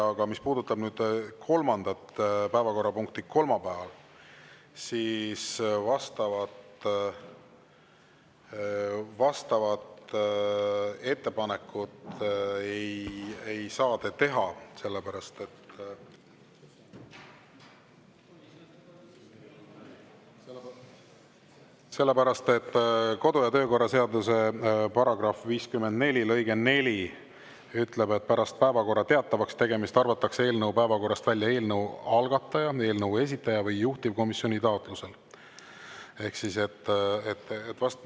Aga mis puudutab kolmandat päevakorrapunkti kolmapäeval, siis vastavat ettepanekut ei saa te teha, sellepärast et kodu- ja töökorra seaduse § 54 lõige 4 ütleb, et pärast päevakorra teatavakstegemist arvatakse eelnõu päevakorrast välja eelnõu algataja, eelnõu esitaja või juhtivkomisjoni taotlusel.